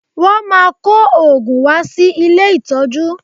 Wọ́n máa kó òògùn wá sí ilé ìtọ́jú